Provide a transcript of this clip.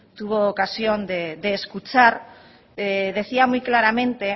tuvo ocasión de escuchar decía muy claramente